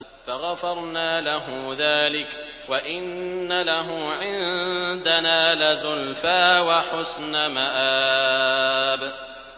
فَغَفَرْنَا لَهُ ذَٰلِكَ ۖ وَإِنَّ لَهُ عِندَنَا لَزُلْفَىٰ وَحُسْنَ مَآبٍ